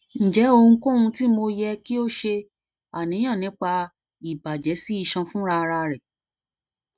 njẹ ohunkohun ti mo yẹ ki o ṣe aniyan nipa ibajẹ si isan funrararẹ funrararẹ